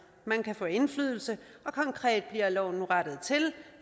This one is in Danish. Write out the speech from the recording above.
man kan få indflydelse og konkret bliver loven nu rettet til